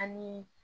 Anii